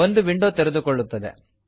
ಒಂದು ವಿಂಡೋ ತೆರೆದುಕೊಳ್ಳುತ್ತದೆ